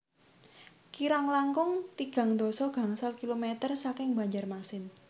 Kirang langkung tigang dasa gangsal kilometer saking Banjarmasin